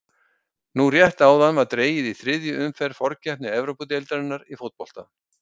Nú rétt áðan var dregið í þriðju umferð forkeppni Evrópudeildarinnar í fótbolta.